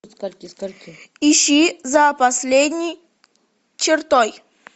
ищи за последней чертой